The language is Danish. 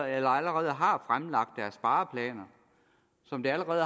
allerede har fremlagt deres spareplaner som det allerede